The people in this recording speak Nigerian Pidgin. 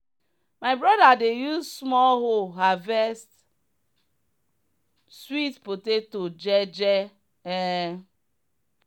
my brother dey use small hoe harvest sweet potato je je. um